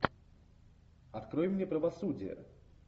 открой мне правосудие